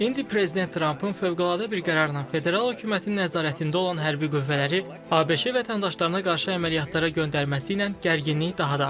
İndi prezident Trampın fövqəladə bir qərarla federal hökumətin nəzarətində olan hərbi qüvvələri ABŞ vətəndaşlarına qarşı əməliyyatlara göndərməsi ilə gərginlik daha da artır.